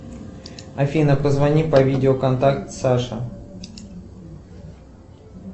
афина позвони по видео контакт саша